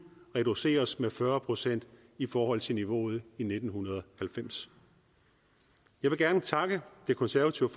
reduceres med fyrre procent i forhold til niveauet i nitten halvfems jeg vil gerne takke det konservative